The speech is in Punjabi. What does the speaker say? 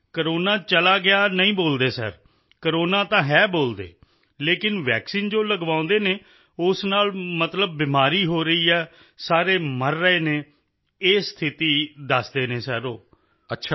ਨਹੀਂ ਕੋਰੋਨਾ ਚਲਾ ਗਿਆ ਨਹੀਂ ਬੋਲਦੇ ਸਰ ਕੋਰੋਨਾ ਤਾਂ ਹੈ ਬੋਲਦੇ ਲੇਕਿਨ ਵੈਕਸੀਨ ਜੋ ਲਗਵਾਉਂਦੇ ਹਨ ਉਸ ਨਾਲ ਮਤਲਬ ਬਿਮਾਰੀ ਹੋ ਰਹੀ ਹੈ ਸਾਰੇ ਮਰ ਰਹੇ ਹਨ ਇਹ ਸਥਿਤੀ ਦੱਸਦੇ ਹਨ ਸਰ ਉਹ